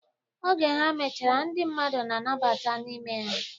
Oge ha mechara, ndị mmadụ na-abata n'ime ya.